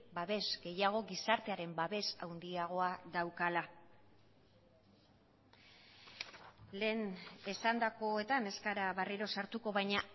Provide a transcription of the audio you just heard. babes gehiago gizartearen babes handiagoa daukala lehen esandakoetan ez gara berriro sartuko baina